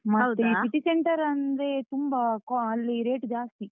City Centre ಅಂದ್ರೆ ತುಂಬಾ ಕೋ ಅಲ್ಲಿ rate ಜಾಸ್ತಿ.